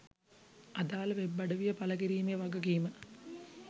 අදාළ වෙබ් අඩවිය පළ කිරීමේ වගකීම